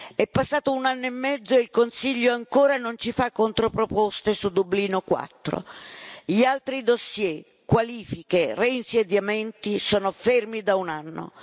È passato un anno e mezzo e il Consiglio ancora non ci fa controproposte su Dublino 4. Gli altri fascicoli, qualifiche, reinsediamenti sono fermi da un anno.